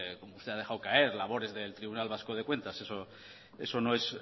como usted ha dejado caer labores del tribunal vasco de cuentas eso no es